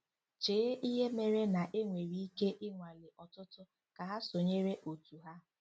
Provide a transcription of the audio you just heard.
Chee ihe mere na- enwere ike i nwalee ọtụtụ kà há sonyeere otú ha.